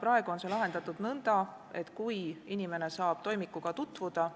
Praegu on see lahendatud nõnda, et kui inimene saab toimikuga tutvuda,